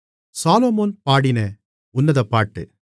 சாலொமோன் பாடின உன்னதப்பாட்டு மணவாளி